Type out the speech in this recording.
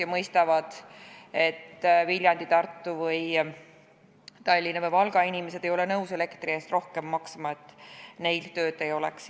Nad mõistavad, et Viljandi, Tartu, Tallinna ja Valga inimesed ei ole nõus elektri eest rohkem maksma, et neil tööd oleks.